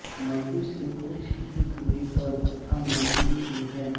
मंदिर से कुछ ही दूरी पर गुफा मंदिर भी है